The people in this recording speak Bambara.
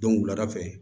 Dɔnku wulada fɛ